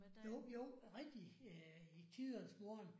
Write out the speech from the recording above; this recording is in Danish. Jo jo rigtigt i tidernes morgen